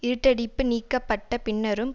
இருட்டடிப்பு நீக்கப்பட்ட பின்னரும்